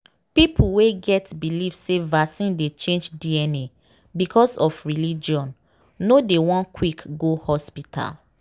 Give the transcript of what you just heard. people wey get believe say vaccine dey change dna because of religion no dey won quick go hospital.